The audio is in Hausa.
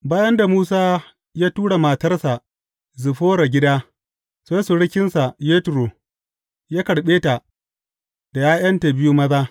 Bayan da Musa ya tura matarsa Ziffora gida, sai surukinsa Yetro ya karɓe ta da ’ya’yanta biyu maza.